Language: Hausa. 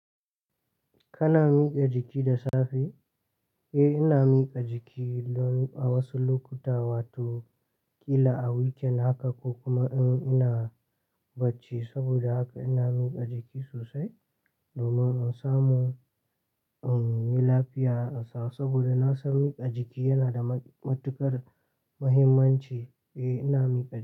Kana miƙa jiki da safe? Eh, ina miƙa jiki don a wasu lokuta, wato ƙila a weekend haka ko kuma in ina bacci. Saboda haka ina miƙa jiki sosai domin in samu, in yi lafiya sosai. Saboda na san miƙa jiki yana da matuƙar muhimmanci. Eh, ina miƙa jiki.